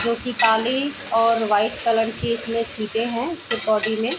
जो की काली और वाइट कलर की इसमें छीटे हैं इसी बॉडी में।